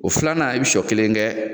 O filanan i bɛ sɔ kelen kɛ